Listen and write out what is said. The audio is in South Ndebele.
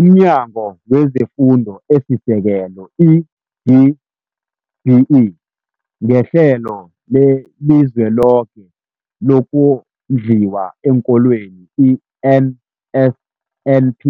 UmNyango wezeFundo esiSekelo, i-DBE, ngeHlelo leliZweloke lokoNdliwa eenKolweni, i-NSNP,